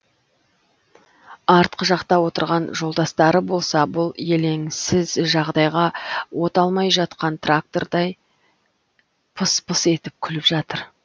артқы жақта отырған жолдастары болса бұл еленсіз жағдайға от алмай жатқан трактордай пыс пыс етіп күліп жатыр